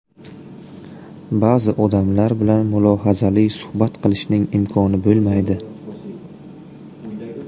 Ba’zi odamlar bilan mulohazali suhbat qilishning imkoni bo‘lmaydi.